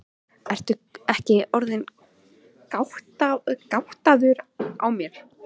Ertu ekki orðinn gáttaður á mér.